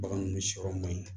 Bagan ninnu sɔrɔ man ɲi